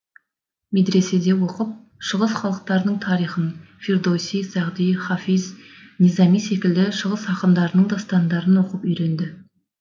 медреседе оқып шығыс халықтарының тарихын фирдоуси сағди хафиз низами секілді шығыс ақындарының дастандарын оқып үйренді